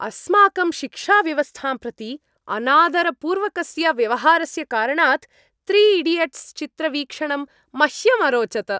अस्माकं शिक्षाव्यवस्थां प्रति अनादरपूर्वकस्य व्यवहारस्य कारणात् त्रि ईडियट्स् चित्रवीक्षणं मह्यम् अरोचत।